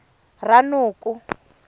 ranoko